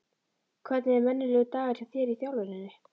Hvernig er venjulegur dagur hjá þér í þjálfuninni?